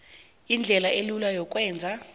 indlela elula yokwenza